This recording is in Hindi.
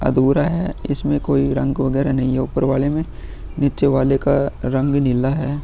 अधुरा है इसमें कोई रंग वैगरा नहीं है उपर वाले में नीचे वाले का रंग नीला है।